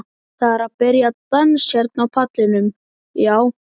Það er að byrja dans hérna á pallinum, já.